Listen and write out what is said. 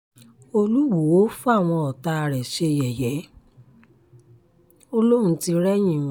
olùwòo fáwọn ọ̀tá rẹ ṣe yẹ̀yẹ́ ò lóun tì rẹ́yìn wọn